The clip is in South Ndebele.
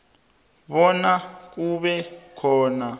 bona kube khona